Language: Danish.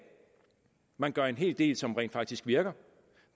man gør en hel del som rent faktisk virker